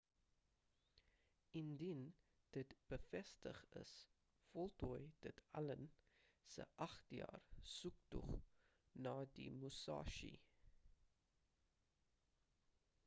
indien dit bevestig is voltooi dit allen se agt-jaar soektog na die musashi